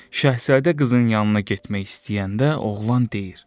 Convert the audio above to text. Şahzadə qızın yanına getmək istəyəndə oğlan deyir: